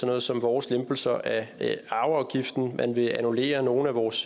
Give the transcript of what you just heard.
noget som vores lempelser af arveafgiften man vil annullere nogle af vores